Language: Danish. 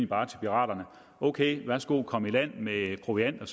bare til piraterne ok værsgo kom i land med proviant